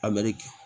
A bɛri kɛ